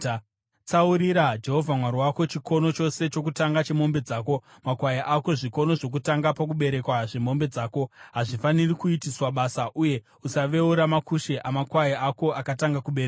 Tsaurira Jehovha Mwari wako chikono chose chokutanga chemombe dzako, makwai ako. Zvikono zvokutanga pakuberekwa zvemombe dzako hazvifaniri kuitiswa basa uye usaveura makushe amakwai ako akatanga kuberekwa.